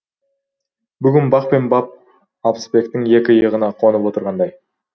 бүгін бақ пен бап алпысбектің екі иығына қонып отырғандай